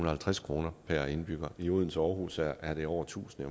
og halvtreds kroner per indbygger i odense og aarhus er det over tusind